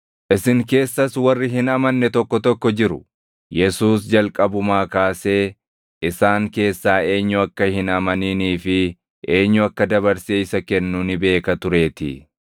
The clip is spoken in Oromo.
Isin keessas warri hin amanne tokko tokko jiru.” Yesuus jalqabumaa kaasee isaan keessaa eenyu akka hin amaninii fi eenyu akka dabarsee isa kennu ni beeka tureetii.